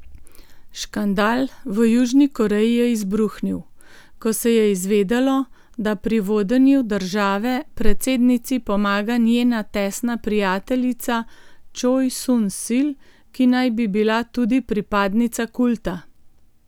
Škandal v Južni Koreji je izbruhnil, ko se je izvedelo, da pri vodenju države predsednici pomaga njena tesna prijateljica Čoj Sun Sil, ki naj bi bila tudi pripadnica kulta.